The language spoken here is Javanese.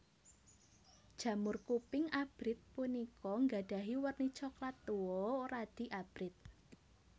Jamur kuping abrit punika nggadhahi werni coklat tuwa radi abrit